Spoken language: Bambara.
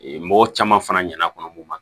Ee mɔgɔ caman fana ɲɛna kɔnɔ mun ma